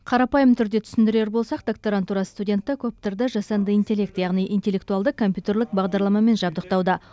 қарапайым түрде түсіндірер болсақ докторантура студенті коптерді жасанды интеллект яғни интеллектуалды компьютерлік бағдарламамен жабдықтауда